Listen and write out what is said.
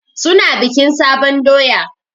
Su na bikin sabon doya.